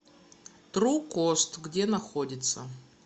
тру кост где находится